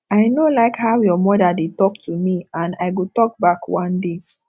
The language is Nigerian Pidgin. i no like how your mother dey talk to me and i go talk back one day